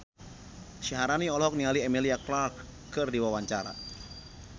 Syaharani olohok ningali Emilia Clarke keur diwawancara